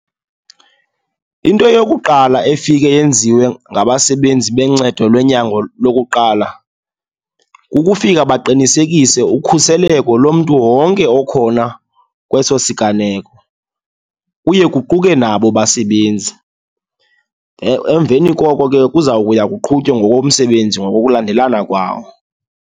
Into yokuqala efike yenziwe ngabasebenzi bencedo lwenyango lokuqala, kukufika baqinisekise ukhuseleko lomntu wonke okhona kweso siganeko, kuye kuquke nabo abasebenzi. Emveni koko ke kuza kuya kuqhutywe ngokomsebenzi ngokukulandelana kwawo.